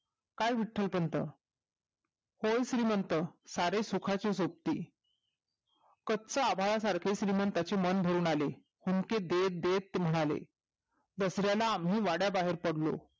काय विट्टलपंत होय श्रीमंत सारे सुखाचे सोबती गच्चं आभाळ सारखे श्रीमंताचे मन भरून आले हुंदके देत देत म्हणाले दसऱ्याला आम्ही वड्याबाहेर पडलो